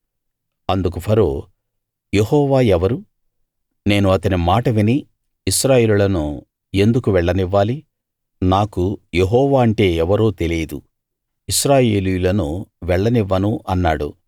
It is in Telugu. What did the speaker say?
అందుకు ఫరో యెహోవా ఎవరు నేను అతని మాట విని ఇశ్రాయేలీయులను ఎందుకు వెళ్ళనివ్వాలి నాకు యెహోవా అంటే ఎవరో తెలియదు ఇశ్రాయేలీయులను వెళ్ళనివ్వను అన్నాడు